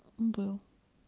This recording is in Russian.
был